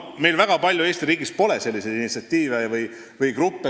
Meil ei ole Eesti riigis väga palju selliseid initsiatiivgruppe, kes sellise mõttega välja tulevad.